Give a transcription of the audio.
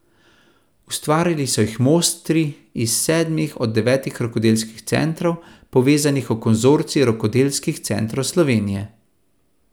Ustvarili so jih mojstri iz sedmih od devetih rokodelskih centrov, povezanih v Konzorcij rokodelskih centrov Slovenije.